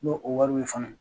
N'o o wari be ye fana